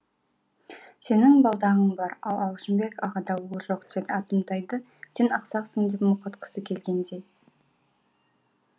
сенің балдағың бар ал алшынбек ағада ол жоқ атымтайды сен ақсақсың деп мұқатқысы келгендей